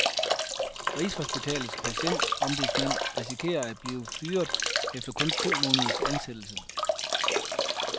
Rigshospitalets patientombudsmand risikerer at blive fyret efter kun to måneders ansættelse.